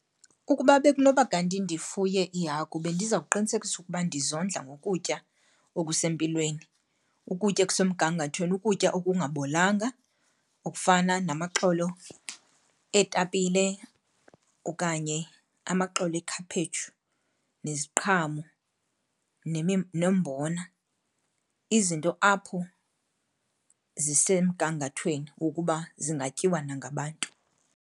Ukuba bekunoba kanti ndifuye iihagu bendizawuqinisekisa ukuba ndizondla ngokutya okusempilweni, ukutya okusemgangathweni, ukutya okungabolanga okufana namaxolo eetapile okanye amaxolo ekhaphetshu, neziqhamo nombona, izinto apho zisemgangathweni wokuba zingatyiwa nangabantu.